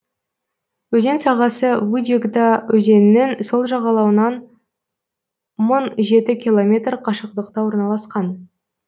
өзен сағасы вычегда өзенінің сол жағалауынан мың жеті километр қашықтықта орналасқан